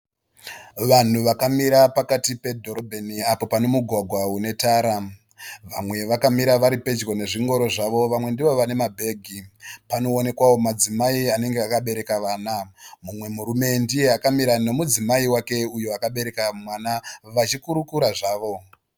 Vanhu vakamira pakati padhorombeni apo panemugwagwa une tara. Vamwe vakamira varipedyo nezvingoro zvavo. Vamwe ndivo vane mabhegi. Panoonekwawo madzimai anenge akabereka vana. Pane murume ndiye akamira nemudzimai wake uyo akabereka mwana vachikurukura havo.